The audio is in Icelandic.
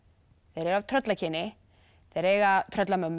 þeir eru af tröllakyni þeir eiga